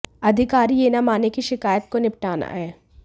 अधिकारी यह न माने की शिकायत को निपटाना है